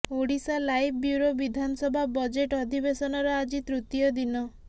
Odisha live bureau ବିଧାନସଭା budget ଅଧିବେଶନର ଆଜି ତୃତୀୟ ଦିନ